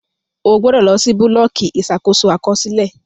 O gbọdọ lọ si bulọọki Ìṣàkóso Àkọsílẹ!